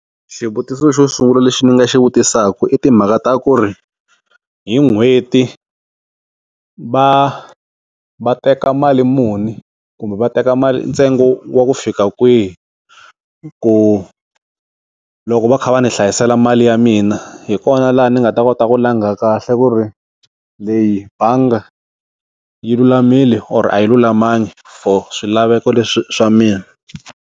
Xivutiso xo sungula lexi ni nga xi vutisaka i timhaka ta ku ri hi n'hweti va va teka mali muni kumbe va teka mali ntsengo wa ku fika kwihi, ku loko va kha va ni hlayisela mali ya mina hi kona laha ni nga ta kota ku langha kahle ku ri leyi bangi yi lulamile or a yi lulamanga for swilaveko leswi swa mina.